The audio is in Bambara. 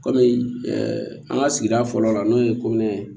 Kɔmi an ka sigida fɔlɔ la n'o ye ye